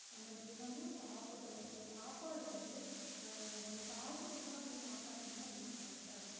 நம்ம தினமும் சாப்படறோம் அந்த சாப்பாடு வந்து அஹ் நம்ம காசு குடுத்தா அந்த சாப்பாடு வந்து நம்மளுக்கு கிடைக்காது